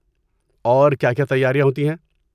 اور کیا کیا تیاریاں ہوتی ہیں؟